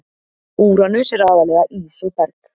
Úranus er aðallega ís og berg.